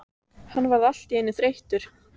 Hann varð allt í einu þreyttur.